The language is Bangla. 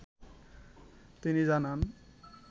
তিনি জানান